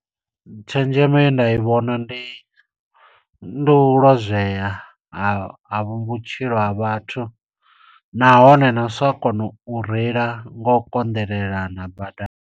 Tshenzhemo ye nda i vhona ndi, ndi u lozwea ha vhutshilo ha vhathu. Nahone na u sa kona u reila ngo u konḓelelana badani.